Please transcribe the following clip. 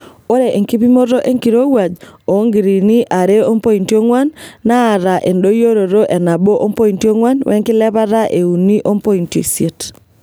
Ore enkipimoto enkirowuaj oonngiriini are ompointi ong'wan naata endoyioroto e nabo ompoiti ongwan wenkilepata e uni ompointi isiet.